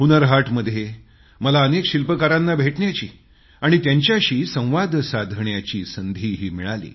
हुन्नर हाटमध्ये मला अनेक शिल्पकारांना भेटण्याची आणि त्यांच्याशी संवाद साधण्याची संधीही मिळाली